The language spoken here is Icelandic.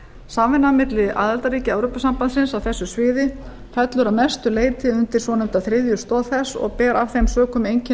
samvinna milli aðildarríkja evrópusambandsins á þessu sviði fellur að mestu leyti undir svonefnda þriðju stoð þess og ber af þeim sökum einkenni